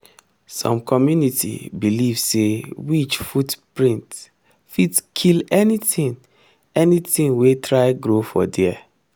some community believe say witch footprint fit kill anything anything wey try grow for there.